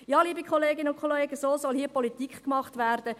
Ja, liebe Kolleginnen und Kollegen, so soll hier Politik gemacht werden.